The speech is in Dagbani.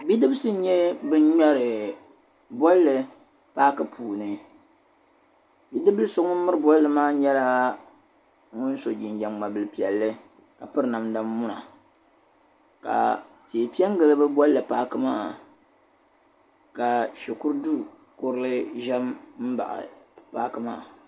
Bidibisi n-nyɛ ban ŋmɛri bolli paaki puuni. bidibibil' so ŋun miri bolli maa nyɛla ŋun so jinjam ŋma' bil' piɛlli ka piri namda muna ka tihi pe n-gili bɛ bolli paaki maa ka shikuridu' kurili za m-baɣi paaki maa.